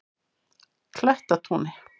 Klettatúni